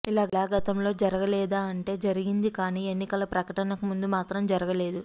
ఇలా గతంలో జరగలేదా అంటే జరిగిందిగానీ ఎన్నికల ప్రకటనకు ముందు మాత్రం జరగలేదు